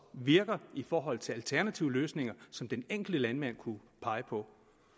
virker i forhold til alternative løsninger som den enkelte landmand kunne pege på